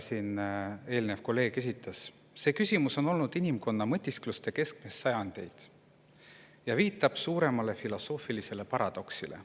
See küsimus on olnud inimkonna mõtiskluste keskmes sajandeid ja viitab suuremale filosoofilisele paradoksile.